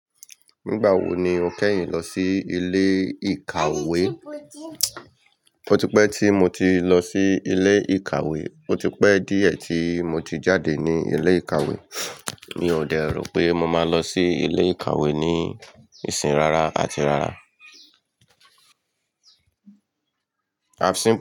Nígbà wo ni o kẹ́yìn lọ sí ilé ìkàwé? Ó ti pẹ́ tí mo ti lọ sí ilé ìkàwé. Ó ti pẹ́ díẹ̀ tí mo ti jáde ní ilé ìkàwé. Mi ò dẹ̀ro pé mo máa lọ sí ilé ìkàwé ní ìsìn rara àti rara.